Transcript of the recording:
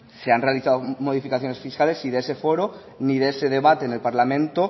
se han realizado modificaciones fiscales y de ese foro ni de ese debate en el parlamento